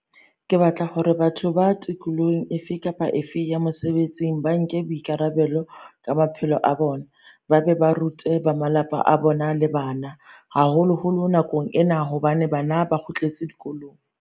Ke batla hore batho ba tikolohong efe kapa efe ya mosebetsing ba nke boikara-belo ka maphelo a bona ba be ba rute ba malapa a bona le bana, haholoholo nakong ena hobane bana ba kgutletse dikolong.